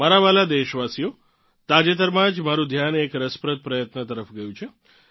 મારાં વ્હાલાં દેશવાસીઓ તાજેતરમાં જ મારું ધ્યાન એક રસપ્રદ પ્રયત્ન તરફ ગયું છે